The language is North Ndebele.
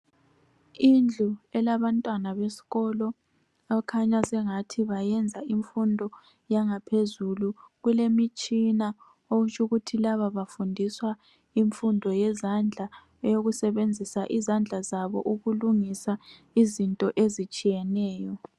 Indlu elabantwana besikolo okukhanya sengathi bayenza imfundo yangaphezulu. Kulemitshina okutsho ukuthi laba bafundiswa imfundo yezandla eyokusebenzisa izandla zabo ukulungisa izinto ezitshiyeneyo.